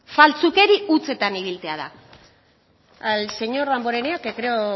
faltsukeri hutsetan ibiltzea da al señor damborenea que creo